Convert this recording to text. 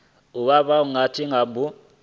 u vha wo gudiwa nga